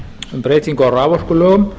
um breytingu á raforkulögum